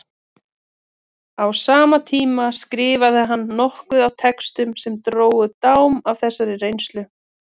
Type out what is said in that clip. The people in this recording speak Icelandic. Á sama tíma skrifaði hann nokkuð af textum sem drógu dám af þessari reynslu.